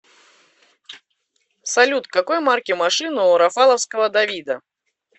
салют какой марки машина у рафаловского давида